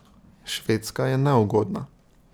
Švedska je neugodna.